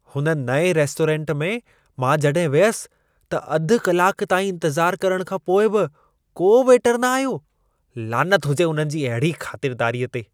हुन नएं रेस्टोरेंट में मां जॾहिं वियसि, त अधु कलाक ताईं इंतज़ार करण खां पोइ बि को वेटर न आयो। लानत हुजे उन्हनि जी अहिड़ी ख़ातिरदारीअ ते।